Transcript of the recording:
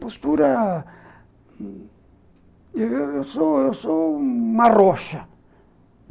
Postura... Eu sou uma rocha.